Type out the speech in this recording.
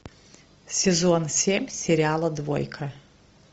сезон семь сериала двойка